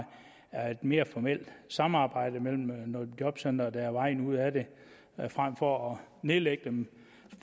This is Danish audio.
er et lidt mere formelt samarbejde mellem nogle jobcentre der er vejen ud af det frem for at nedlægge dem